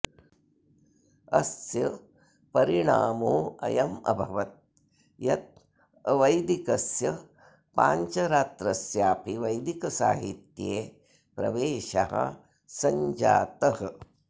अस्य परिणामोऽयमभवत् यत् अवैदिकस्य पाञ्चरात्रस्यापि वैदिकसाहित्ये प्रवेशः संजातः